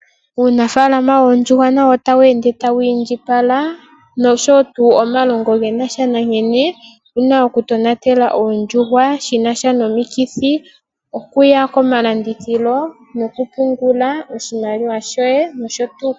Uunafalama woondjuhwa nawo otawu ende tawu indjipala nosho tuu omalongo gena sha nankene tuna okutonatela oondjuhwa shina sha nomikithi, okuya komalandithilo nokupungula oshimaliwa shoye nosho tuu.